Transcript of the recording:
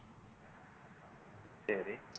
சரி